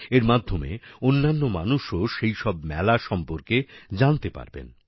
এর মাধ্যমে অন্যান্য মানুষও সেইসব মেলা সম্পর্কে জানতে পারবেন